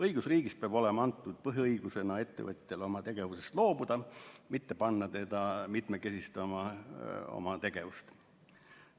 Õigusriigis peab ettevõtjale olema põhiõigusena antud õigus oma tegevusest loobuda, mitte panna teda mitmekesistama oma tegevust.